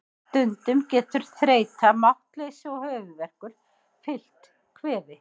Stundum getur þreyta, máttleysi og höfuðverkur fylgt kvefi.